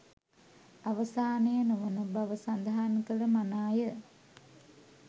අවසානය නොවන බව සඳහන් කළ මනාය